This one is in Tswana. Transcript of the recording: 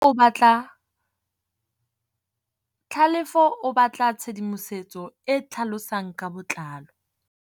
Tlhalefô o batla tshedimosetsô e e tlhalosang ka botlalô.